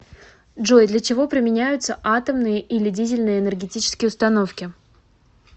джой для чего применяются атомные или дизельные энергетические установки